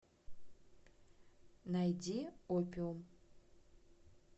найди опиум